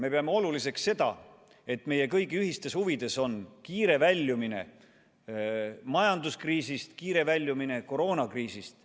Me peame oluliseks seda, et meie kõigi ühistes huvides on kiire väljumine majanduskriisist ja kiire väljumine koroonakriisist.